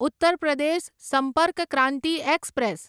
Uttar Pradesh Sampark Kranti express